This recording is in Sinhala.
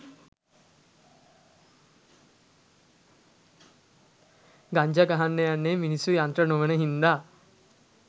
ගංජා ගහන්න යන්නේ මිනිස්සු යන්ත්‍ර නොවෙන හිංදා